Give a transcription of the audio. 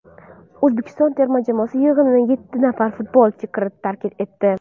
O‘zbekiston terma jamoasi yig‘inini yetti nafar futbolchi tark etdi.